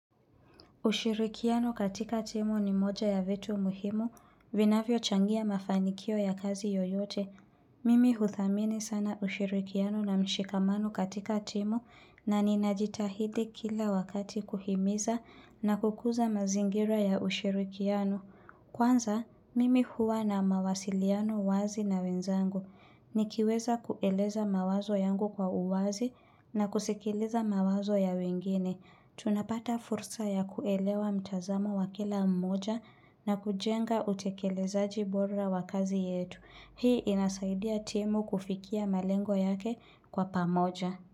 Ushirikiano katika timu ni moja ya vitu muhimu, vinavyochangia mafanikio ya kazi yoyote. Mimi huthamini sana ushirikiano na mshikamano katika timu na ninajitahidi kila wakati kuhimiza na kukuza mazingira ya ushirikiano. Kwanza, mimi huwa na mawasiliano wazi na wenzangu. Nikiweza kueleza mawazo yangu kwa uwazi na kusikiliza mawazo ya wengine. Tunapata fursa ya kuelewa mtazamo wa kila mmoja na kujenga utekelezaji bora wa kazi yetu. Hii inasaidia timu kufikia malengo yake kwa pamoja.